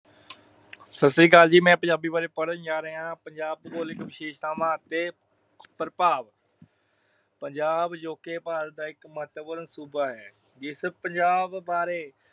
ਸਤਿ ਸ੍ਰੀ ਅਕਾਲ ਜੀ। ਮੈਂ ਪੰਜਾਬੀ ਬਾਰੇ ਪੜ੍ਹਨ ਜਾ ਰਿਹਾ। ਪੰਜਾਬ ਦੀਆਂ ਭੂਗੋਲਿਕ ਵਿਸ਼ੇਸ਼ਤਾਵਾਂ ਅਤੇ ਪ੍ਰਭਾਵ ਪੰਜਾਬ ਅਜੋਕੇ ਭਾਰਤ ਦਾ ਇੱਕ ਮਹੱਤਵਪੂਰਨ ਸੂਬਾ ਹੈ। ਜਿਸ ਪੰਜਾਬ ਬਾਰੇ